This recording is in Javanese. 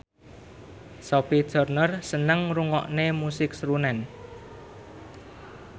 Sophie Turner seneng ngrungokne musik srunen